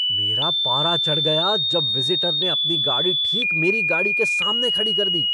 मेरा पारा चढ़ गया जब विज़िटर ने अपनी गाड़ी ठीक मेरी गाड़ी के सामने खड़ी कर दी।